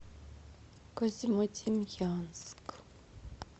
козьмодемьянск